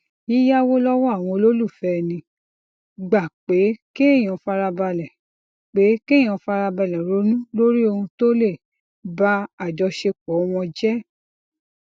yíyáwó lówó àwọn olólùfẹ ẹni gba pé kéèyàn farabalè pé kéèyàn farabalè ronú lórí ohun tó lè ba àjọṣepọ wọn jẹ